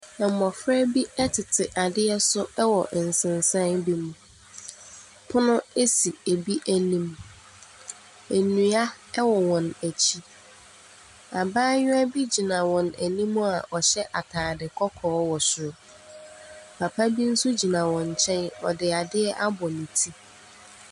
Mmofra bi tete adeɛ so wɔ nsensan bi mu. Pono si bi anim. Nnua wɔ wɔn akyi. Abaayewa bi gyina wɔn anim a ɔhyɛ ataade kɔkɔɔ wɔ soro. Papa bi nso gyina wɔn nkyɛn, ɔde adeɛ abɔ ne ti.